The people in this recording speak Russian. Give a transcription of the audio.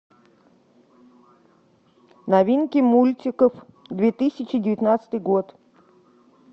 новинки мультиков две тысячи девятнадцатый год